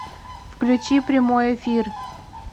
включи прямой эфир